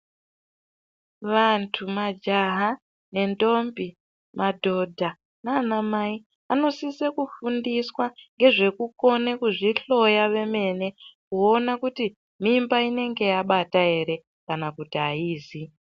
Vantu majaha nendombi, madhodha nanamai anosise kufundiswa ngezvekukone kuzvihloya vemene kuona kuti mimba inenge yabata ere kana kuti haizi.